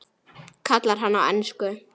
kallar hann á ensku.